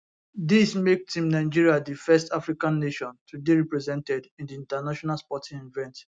dis make team nigeria di first african nation to dey represented in di international sporting event